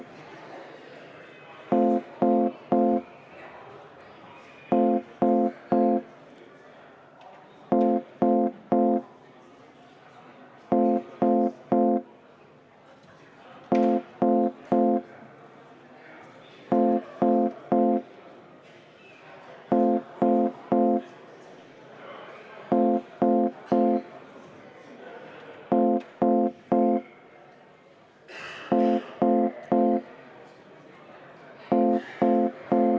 Hääletustulemused Tagasilükkamist toetab 54 Riigikogu liiget, vastu on 11, erapooletuid ei ole.